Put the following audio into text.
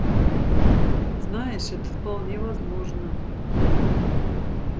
знаешь это вполне возможно